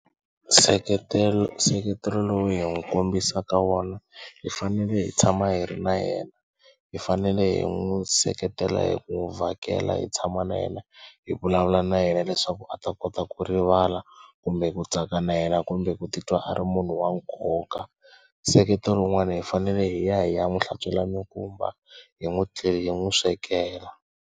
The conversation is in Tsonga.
Nseketelo nseketelo lowu hi n'wi kombisaka wona hi fanele hi tshama hi ri na yena hi fanele hi n'wi seketela hi ku n'wi vhakela hi tshama na yena hi vulavula na yena leswaku a ta kota ku rivala kumbe ku tsaka na yena kumbe ku titwa a ri munhu wa nkoka. Nseketelo wun'wana hi fanele hi ya hi ya n'wi hlantswela mikumba hi n'wi hi n'wi swekela.